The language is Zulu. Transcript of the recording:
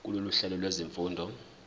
kulolu hlelo lwezifundo